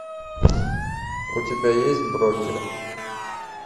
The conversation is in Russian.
у тебя есть брокер